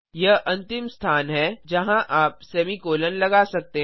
यह अंतिम स्थान है जहाँ आप सेमीकोलों लगा सकते हैं